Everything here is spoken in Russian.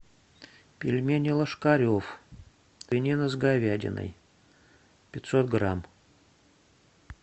пельмени ложкарев свинина с говядиной пятьсот грамм